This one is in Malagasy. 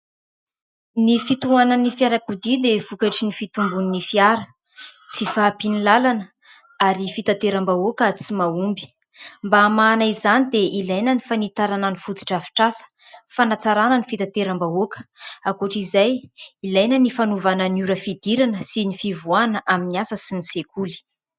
Ny fitohanan'ny fiarakodia dia vokatry ny fitombon'ny fiara, tsy fahampian'ny lalana ary fitanterambahoaka tsy mahomby ; mba hamahana izany dia ilaina ny fanitarana ny foto-drafitr'asa fanatsarana ny fitanterambahoaka. Ankoatra izay ilaina ny fanovana ny ora fidirana sy ny fivoahana amin'ny asa sy ny sekoly.